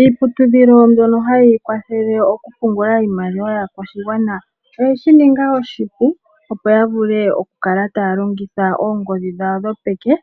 Iiputudhilo mbyono hayi kwathele oku pungula iimaliwa yaakwashigwana oyeshi ninga oshipu opo yivule okukala taya longitha oongodhi dhawo dhopeke